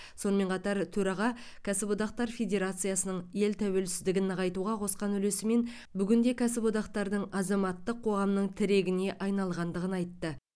сонымен қатар төраға кәсіподақтар федерациясының ел тәуелсіздігін нығайтуға қосқан үлесі мен бүгінде кәсіподақтардың азаматтық қоғамның тірегіне айналғандығын айтты